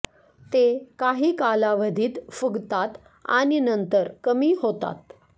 ते काही कालावधीत फुगतात आणि नंतर कमी होतात